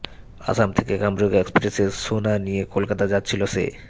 অসম থেকে কামরূপ এক্সপ্রেসে সোনা নিয়ে কলকাতা যাচ্ছিল সে